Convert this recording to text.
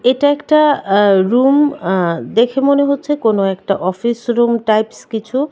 এটা একটা এ্যা রুম এ্যা দেখে মনে হচ্ছে কোন একটা অফিসরুম টাইপ্স কিছু।